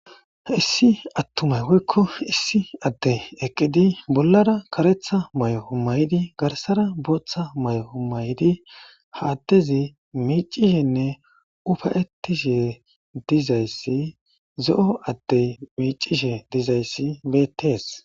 issi attumay woykko issi addey eqqidi bollara karetha may7oo may7di garsara booththa may7oo may7di haaddezi miicishenne ufayettishe dizayssi zo7o addey miicishe dizayssi beetees